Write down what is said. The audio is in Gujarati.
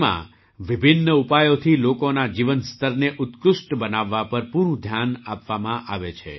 તેમાં વિભિન્ન ઉપાયોથી લોકોના જીવનસ્તરને ઉત્કૃષ્ટ બનાવવા પર પૂરું ધ્યાન આપવામાં આવે છે